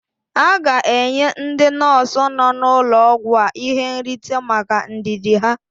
A ga-enye ndị nọọsụ nọ n'ụlọ ọgwụ a ihe nrite maka ndidi ha.